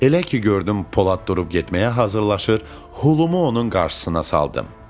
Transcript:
Elə ki gördüm Polad durub getməyə hazırlaşır, Hulu onun qarşısına saldım.